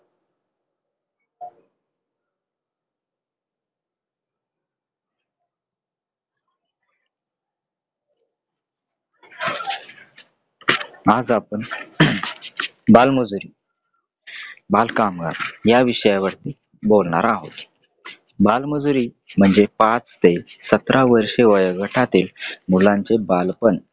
आज आपण बालमजुरी, बालकामगार या विषयावर बोलणार आहोत. बालमजुरी म्हणजे पाच ते सतरा वर्षे वयोगटातील मुलांचे बालपण.